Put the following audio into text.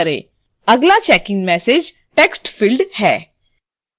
अगला checkin message: text field है